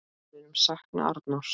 Við munum sakna Arnórs.